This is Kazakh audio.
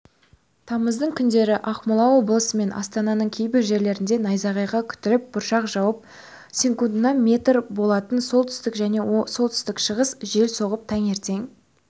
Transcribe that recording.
тамыздың күндері ақмола облысы мен астананың кейбір жерлерінде найзағай күтіліп бұршақ жауып секундына метр болатын солтүстік және солтүстік-шығыстық жел соғып таңертең